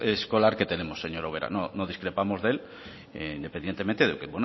escolar que tenemos señora ubera no discrepamos de él independientemente de lo que